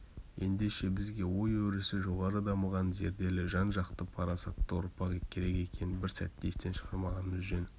ендеше бізге ой өрісі жоғары дамыған зерделі жан-жақты парасатты ұрпақ керек екенін бір сәтте естен шығармағанымыз жөн